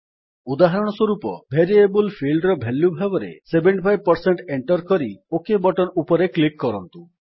ଉଦାହରଣ ସ୍ୱରୂପ ଭେରିଏବଲ୍ ଫିଲ୍ଡର ଭାଲ୍ୟୁ ଭାବରେ 75 ଏଣ୍ଟର୍ କରି ଓକ୍ ବଟନ୍ ଉପରେ କ୍ଲିକ୍ କରନ୍ତୁ